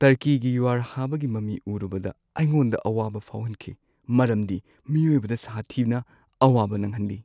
ꯇꯔꯀꯤꯒꯤ ꯌꯨꯍꯥꯔꯍꯥꯕꯒꯤ ꯃꯃꯤ ꯎꯔꯨꯕꯗ ꯑꯩꯉꯣꯟꯗ ꯑꯋꯥꯕ ꯐꯥꯎꯍꯟꯈꯤ ꯃꯔꯝꯗꯤ ꯃꯤꯑꯣꯏꯕꯗ ꯁꯥꯊꯤꯅ ꯑꯋꯥꯕ ꯅꯪꯍꯜꯂꯤ ꯫